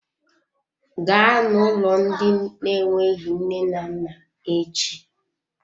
Gaa na-ụlọ ndị na-enweghị nne na nna echi!